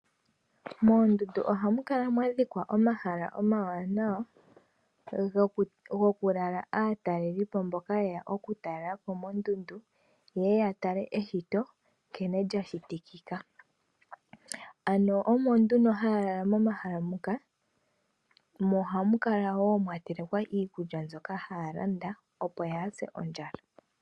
Moondundu oha mu kala mwa dhikwa omahala omawanawa, go ku lala aatalelipo mboka ye ya oku talelapo, ye ye ya tale eshito nkene lyashitikika. Ano omo nduno ha ya lala momahala moka, mo oha mu kala woo mwa tsikwa ikkulta mbyoka ha ya landa opo ya ze ondjala.